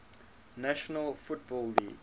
national football league